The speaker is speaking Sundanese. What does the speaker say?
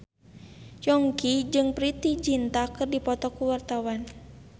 Yongki jeung Preity Zinta keur dipoto ku wartawan